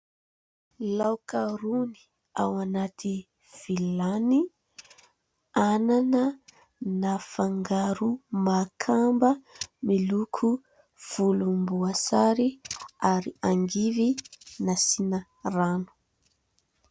Laoka rony ao anaty vilany. Anana nafangaro makamba miloko volomboasary ary angivy nasiana rano.